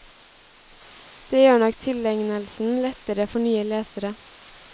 Det gjør nok tilegnelsen lettere for nye lesere.